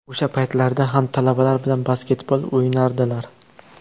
O‘sha paytlarda ham talabalar bilan basketbol o‘ynardilar.